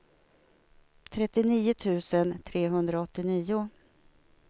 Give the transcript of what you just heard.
trettionio tusen trehundraåttionio